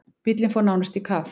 Bíllinn fór nánast í kaf.